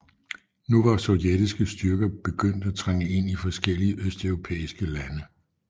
Nu var sovjetiske styrker begyndt at trænge ind i forskellige østeuropæiske lande